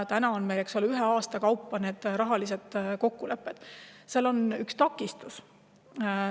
Praegu meil neid rahalisi kokkuleppeid ühe aasta kaupa.